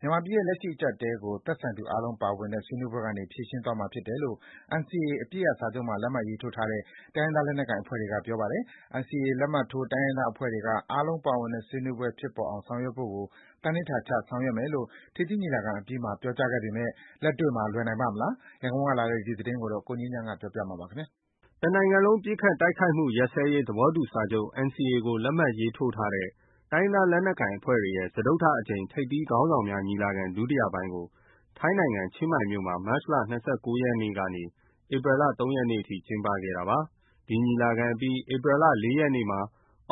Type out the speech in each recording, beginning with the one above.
မြန်မာပြည်ရဲ့ လက်ရှိအကျပ်အတည်းကို သက်ဆိုင်သူအားလုံးပါဝင်တဲ့ ဆွေးနွေးပွဲကနေ ဖြေရှင်းသွားမှာဖြစ်တယ်လို့ NCA အပစ်ရပ်စာချုပ်မှာ လက်မှတ်ရေးထိုးထားတဲ့ တိုင်းရင်းသားလက်နက်ကိုင်အဖွဲ့တွေက ပြောကြားပါတယ်။ NCA လက်မှတ်ထိုး တိုင်းရင်းသားအဖွဲ့တွေက အားလုံးပါဝင်တဲ့ ဆွေးနွေးပွဲဖြစ်ပေါ်အောင်ဆောင်ရွက်ဖို့ကို သန္နိဌာန်ချဆောင်ရွက်မယ်လို့ ထိပ်သီးညီလာခံအပြီးမှာ ပြောကြားခဲ့ပေမယ့် လက်တွေ့မှာ လွယ်နိုင်ပါ့မလား။ ရန်ကုန်ကလာတဲ့ ဒီသတင်းကို ကိုငြိမ်းချမ်းက တင်ပြထားပါတယ်။ တနိုင်ငံလုံးပစ်ခတ်တိုက်ခိုက်မှု ရပ်စဲရေးသဘောတူစာချုပ် NCA ကို လက်မှတ်ရေးထိုးထားတဲ့ တိုင်းရင်းသားလက်နက်ကိုင်အဖွဲ့တွေရဲ့ စတုတ္ထအကြိမ် ထိပ်သီးခေါင်းဆောင်များညီလာခံ ဒုတိယပိုင်းကို ထိုင်းနိုင်ငံ ချင်းမိုင်မြို့မှာ မတ်လ ၂၉ ရက်ကနေ ဧပြီလ ၃ ရက်နေ့ထိ ကျင်းပခဲ့တာပါ။ ဒီညီလာခံအပြီး ဧပြီလ ၄ ရက်နေ့မှာ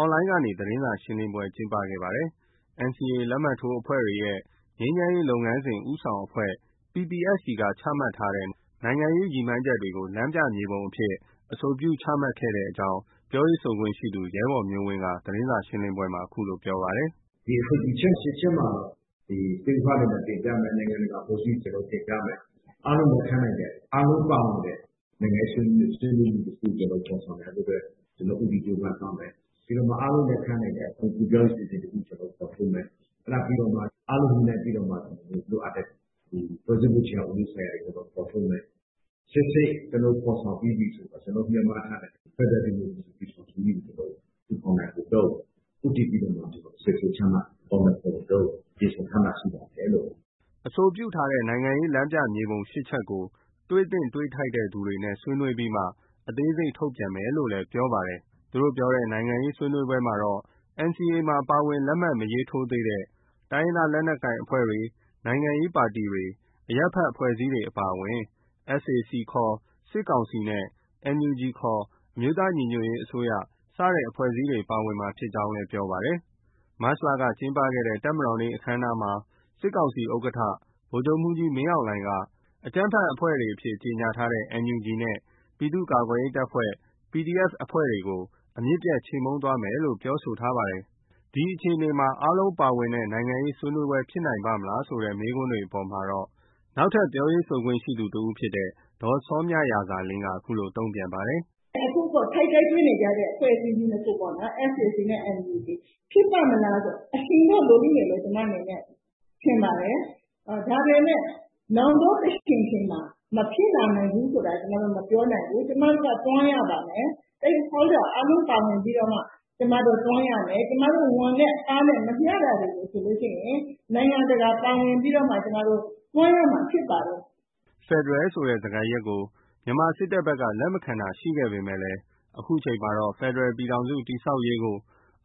Online ကနေ သတင်းစာရှင်းလင်းပွဲ ကျင်းပခဲ့ပါတယ်။ NCA လက်မှတ်ထိုး အဖွဲ့တွေရဲ့ ငြိမ်းချမ်းရေးလုပ်ငန်းစဉ် ဦးဆောင်အဖွဲ့ (PPST) က ချမှတ်ထားတဲ့ နိုင်ငံရေးရည်မှန်းချက်တွေကို လမ်းပြမြေပုံအဖြစ် အဆိုပြုချမှတ်ခဲ့တဲ့အကြောင်း ပြောရေးဆိုခွင့်ရှိသူ ရဲဘော်မျိုးဝင်းက သတင်းစာရှင်းလင်းပွဲမှာ ခုလိုပြောကြားပါတယ်။ “ဒီအဆိုပြုချက် ၈ ချက်မှာတော့ Stake Holder တွေကို တင်ပြမယ်။ နိုင်ငံတကာအဖွဲ့အစည်းတွေကို တင်ပြမယ်။ အားလုံးလက်ခံနိုင်တဲ့၊ အားလုံးပါဝင်တဲ့ နိုင်ငံရေးဆွေးနွေးမှုတခု ဖော်ဆောင်နိုင်ဖို့အတွက် ကျနော်တို့ ဦးတည်ကြိုးပမ်းသွားမယ်။ ပြီးတော့မှ အားလုံးလက်ခံနိုင်မယ့် အသွင်ကူးပြောင်းရေး အစီအစဉ်တခုကို ဖော်ထုတ်မယ်။ အဲဒါပြီးတော့မှ အားလုံး ညှိနှိုင်းပြီးတော့မှ လိုအပ်တဲ့ ဖွဲ့စည်းပုံအခြေခံဥပဒေဆိုင်ရာတွေကို ဖော်ထုတ်မယ်။ ရှေ့ဆက် ကျနော်တို့ ဖော်ဆောင်ပြီးပြီဆို ကျနော်တို့ ရည်မှန်းထားတဲ့ ဖက်ဒရယ် ဒီမိုကရေစီပြည်ထောင်စုကြီးကို ထူထောင်နိုင်ဖို့ ဦးတည်ပြီးတော့မှ အစီအစဉ်ချမှတ် အကောင်အထည်ဖော်နိုင်ဖို့အတွက် ပြင်ဆင်ထားတာ ရှိပါတယ်။” အဆိုပြုထားတဲ့နိုင်ငံရေးလမ်းပြမြေပုံ ၈ ချက်ကို တွေ့သင့် တွေ့ထိုက်တဲ့သူတွေနဲ့ ဆွေးနွေးပြီးနောက်မှ အသေးစိတ် ထုတ်ပြန်မယ်လို့လည်း ပြောပါတယ်။ သူတို့ပြောတဲ့ နိုင်ငံရေး ဆွေးနွေးပွဲမှာတော့ NCA မှာ ပါဝင် လက်မှတ် မရေးထိုးသေးတဲ့ တိုင်းရင်းသားလက်နက် ကိုင်အဖွဲ့တွေ၊ နိုင်ငံရေးပါတီတွေ၊ အရပ်ဘက်အဖွဲ့အစည်းတွေအပါအဝင် SAC ခေါ် စစ်ကောင်စီ နဲ့ NUG ခေါ် အမျိုးသားညီညွတ်ရေးအစိုးရ စတဲ့အဖွဲ့အစည်းတွေ ပါဝင်မှာဖြစ်ကြောင်း ပြောပါတယ်။ မတ်လကကျင်းပခဲ့တဲ့ တပ်မတော်နေ့ အခမ်းအနားမှာ စစ်ကောင်စီဥက္ကဋ္ဌ ဗိုလ်ချုပ်မှူးကြီး မင်းအောင်လှိုင်က အကြမ်းဖက်အဖွဲ့အဖြစ် ကြေညာထားတဲ့ NUG နဲ့ ပြည်သူ့ကာကွယ်ရေးတပ်ဖွဲ့ PDF အဖွဲ့တွေကို အမြစ်ပြတ် ချေမှုန်းသွားမယ်လို့ ပြောဆိုထားပါတယ်။ ဒီအခြေအနေမှာ အားလုံးပါဝင်တဲ့ နိုင်ငံရေးဆွေးနွေးပွဲဖြစ်နိုင်ပါမလားဆိုတဲ့ မေးခွန်းတွေအပေါ်မှာတော့ အခြားပြောရေးဆိုခွင့်ရှိသူ ဒေါ်စောမြရာဇာလင်းက အခုလို တုံ့ပြန်ပါတယ်။ “အခု ထိပ်တိုက်တွေ့နေကြတဲ့အဖွဲ့အစည်း ၂ ခုပေါ့။ SAC နဲ့ NUG ဖြစ်ပါ့မလားပေါ့။ အချိန်တော့ လိုလိမ့်မယ်လို့ ကျမအနေနဲ့ ထင်ပါတယ်။ ဒါပေမယ့် တချိန်ချိန်မှာ မဖြစ်လာနိုင်ဘူးဆိုတာ ကျမတို့ မပြောနိုင်ဘူး။ ကျမတို့က တွန်းရပါမယ်။ Stake Holder အားလုံးပါဝင်ပြီးမှ တွန်းရမယ်။ ကျမတို့ ဝန်နဲ့အားနဲ့ မမျှတာဆိုလို့ရှိရင် နိုင်ငံတကာ ပါဝင်ပြီးမှ တွန်းရမှာဖြစ်ပါတယ်။” ဖက်ဒရယ်ဆိုတဲ့ စကားရပ်ကို မြန်မာစစ်တပ်ဘက်က လက်မခံတာရှိခဲ့ပေမယ့် ဒီနေ့ အချိန်မှာတော့ ဖက်ဒရယ်ပြည်ထောင်စု တည်ဆောက်ရေးကို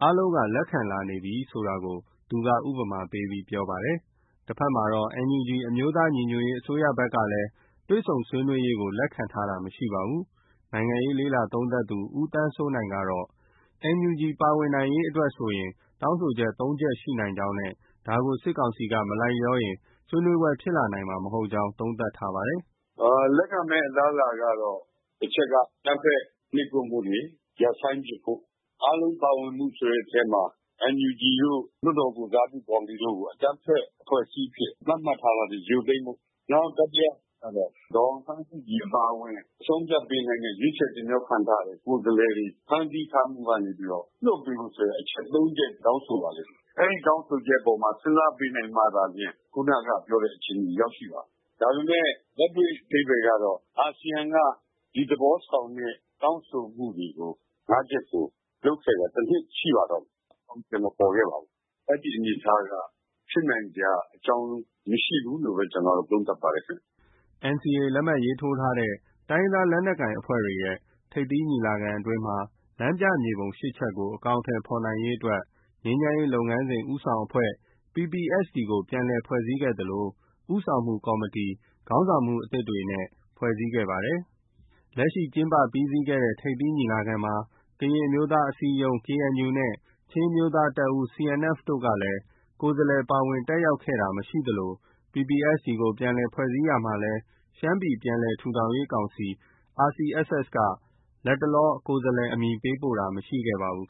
အားလုံးလက်ခံလာပြီဖြစ်တယ်ဆိုတာကို သူက ဥပမာပေးပြောပါတယ်။ တဘက်မှာတော့ NUG အမျိုးသားညီညွတ်ရေးအစိုးရဘက်ကလည်း တွေ့ဆုံဆွေးနွေးရေးကို လက်ခံထားတာ မရှိပါဘူး။ နိုင်ငံရေးလေ့လာသုံးသပ်သူ ဦးသန်းစိုးနိုင်ကတော့ NUG ပါဝင်နိုင်ရေးအတွက်ဆို တောင်းဆိုချက် ၃ ချက်ရှိနိုင်ကြောင်းနဲ့ ဒါကို စစ်ကောင်စီက မလိုက်လျောရင် ဆွေးနွေးပွဲ ဖြစ်လာနိုင်မှာ မဟုတ်ကြောင်း သုံးသပ်ထားပါတယ်။ “လက်ခံမယ့်အလားအလာကတော့ တချက်က အကြမ်းဖက် နှိပ်ကွပ်မှုတွေ ရပ်ဆိုင်းပစ်ဖို့၊ အားလုံးပါဝင်မှုဆိုတဲ့အထဲမှာ NUG တို့၊ လွှတ်တော်ကိုယ်စားပြုကော်မတီတို့ကို အကြမ်းဖက်အဖွဲ့အဖြစ် သတ်မှတ်ထားတာတွေ ရုပ်သိမ်းဖို့၊ နောက် တတိယအချက်ကတော့ ဒေါ်အောင်ဆန်းစုကြည်အပါအဝင် အဆုံးအဖြတ်ပေးနိုင်တဲ့ ရွေးခြယ်တင်မြှောက်ထားတဲ့ ကိုယ်စားလှယ်တွေ ဖမ်းဆီးထားမှုကနေ လွှတ်ပေးဖို့ဆိုတဲ့ အချက် ၃ချက် တောင်းဆိုပါလိမ့်မယ်။ အဲဒီတောင်းဆိုချက်အပေါ်မှာ စဉ်းစားပေးနိုင်မှသာလျှင် ခုနက ပြောတဲ့အခြေအနေရောက်ရှိပါမယ်။ ဒါပေမယ့် အာဆီယံက ဒီသဘောဆောင်တဲ့ တောင်းဆိုမှုတွေကို ၅ ချက်ကို လုပ်ခဲ့တာ တနှစ်ရှိပါတော့မယ်။ အကောင်အထည်မပေါ်ခဲ့ပါဘူး။ အဲဒီအနေအထားက ဖြစ်နိုင်စရာအကြောင်း မရှိဘူးလို့ပဲ ကျနော်တော့ သုံးသပ်ပါတယ်။” NCA လက်မှတ်ရေးထိုးထားတဲ့ တိုင်းရင်းသားလက်နက်ကိုင်အဖွဲ့တွေရဲ့ ထိပ်သီးညီလာခံအတွင်း လမ်းပြမြေပုံ ၈ ချက်ကို အကောင်အထည်ဖော်ရေးအတွက် ငြိမ်းချမ်းရေးလုပ်ငန်းစဉ် ဦးဆောင်အဖွဲ့ PPST ကို ပြန်လည်ဖွဲ့စည်းခဲ့သလို ဦးဆောင်မှုကော်မတီ ခေါင်းဆောင်မှုအသစ်တွေနဲ့ ဖွဲ့စည်းခဲ့ပါတယ်။ လက်ရှိ ကျင်းပပြီးစီးခဲ့တဲ့ ထိပ်သီးညီလာခံမှာ ကရင်အမျိုးသားအစည်းအရုံး KNU နဲ့ ချင်းအမျိုးသားတပ်ဦး CNF တို့က ကိုယ်စားလှယ် ပါဝင်တက်ရောက်ခဲ့တာမရှိခဲ့သလို PPST ကို ပြန်လည်ဖွဲ့စည်းရာမှာလည်း ရှမ်းပြည်ပြန်လည် ထူထောင်ရေး ကောင်စီ RCSS က လတ်တလော ကိုယ်စားလှယ် အမည်ပေးပို့တာ မရှိခဲ့ပါဘူး